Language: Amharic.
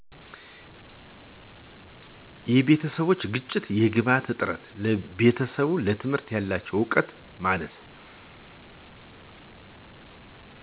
የቤተሰብ ግጭቶች የግብዓት እጥረት ቤተሰብ ለትምህርት ያላቸው እውቀት ማነስ